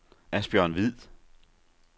Asbjørn Hvid